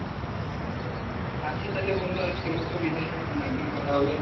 আচ্ছা তালে বন্ধু আজকের মতো বিদায় অন্য একদিন কথা হবে।